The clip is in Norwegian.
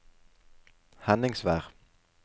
Henningsvær